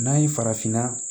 N'an ye farafinna